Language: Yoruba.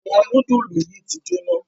Àwọn nudulu yí tí jona.